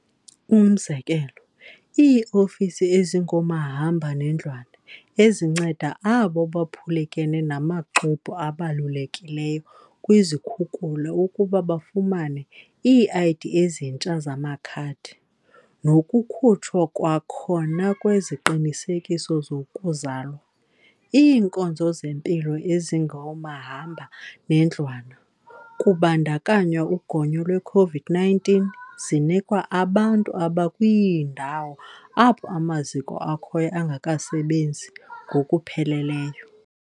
Umzekelo, ii-ofisi ezingomahamba nendlwana ezinceda abo baphulukene namaxwebhu abalulekileyo kwizikhukula ukuba bafumane ii-ID ezintsha zamakhadi, nokukhutshwa kwakhona kweziqinisekiso zokuzalwa. Iinkonzo zempilo ezingomahamba nendlwana, kubandakanywa ugonyo lwe-COVID-19, zinikwa abantu abakwiindawo apho amaziko akhoyo angakasebenzi ngokupheleleyo.